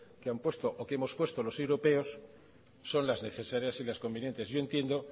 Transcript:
que han puesto o hemos puesto los europeos son las necesarias y las convenientes yo entiendo